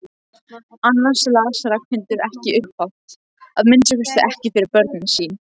Annars las Ragnhildur ekki upphátt, að minnsta kosti ekki fyrir börnin sín.